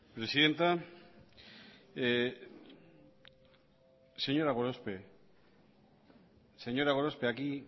presidenta señora gorospe aquí